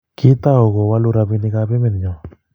kiitou kuwolu robinikab emenyo